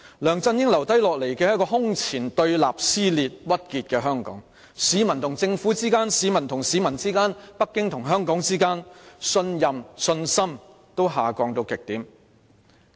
梁振英留下來的是一個空前對立、撕裂和鬱結的香港，在市民與政府之間、市民與市民之間、北京與香港之間，無論信任或信心均下降至極點。